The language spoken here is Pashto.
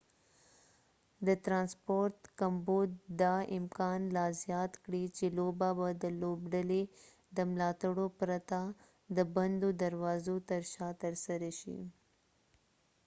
د ترانسپورت کمبود دا امکان لا زیات کړی چې لوبه به د لوبډلې د ملاتړو پرته د بندو دروازو تر شا ترسره شي